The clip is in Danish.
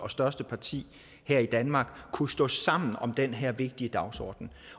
og største parti her i danmark kunne stå sammen om den her vigtige dagsorden